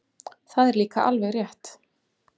Það er líka alveg rétt.